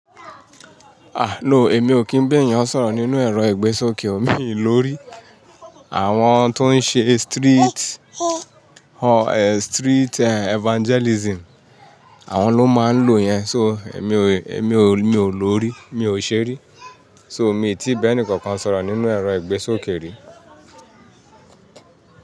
Ah no, èmi ò kí ń bá èèyàn sọ̀rọ̀ nínú ẹ̀rọ ìgbésókè. Mi lórí àwọn tó ń ṣe street, street evangelism. Àwọn ló máa ń lò yẹn. So èmi ò, èmi ò, èmi ò lórí, mi ò ṣe ri. So mi tí bá ẹni kankan sọ̀rọ̀ nínú ẹ̀rọ ìgbésókè rí.